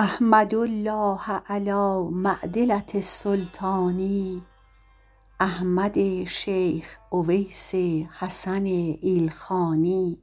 احمد الله علی معدلة السلطان احمد شیخ اویس حسن ایلخانی